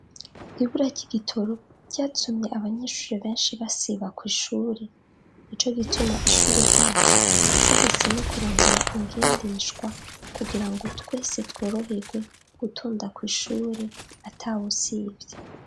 ibura ry'igitoro ryatumye abanyeshuri benshi basiba ku ishuri ni co gituma ishuri ryacu ryahisemo kurondera ingendeshwa kugira ngo twese tworohewe gutunda ku ishuri atawosivy